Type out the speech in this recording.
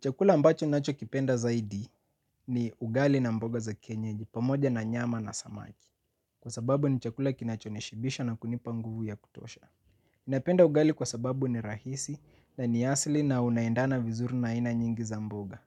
Chakula ambacho nacho kipenda zaidi ni ugali na mboga za kienyeji pamoja na nyama na samaki. Kwa sababu ni chakula kinacho nishibisha na kunipa nguvu ya kutosha. Inapenda ugali kwa sababu ni rahisi na ni asili na unaendana vizuru na aina nyingi za mboga.